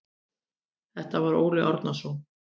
Þetta var Óli Árnason.